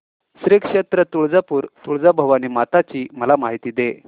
श्री क्षेत्र तुळजापूर तुळजाभवानी माता ची मला माहिती दे